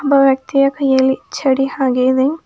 ಒಬ್ಬ ವ್ಯಕ್ತಿಯ ಕೈಯಲ್ಲಿ ಚಡಿ ಹಾಗೆ ಇದೆ.